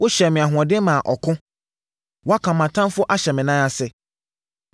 Wohyɛɛ me ahoɔden maa ɔko; woaka mʼatamfoɔ ahyɛ me nan ase.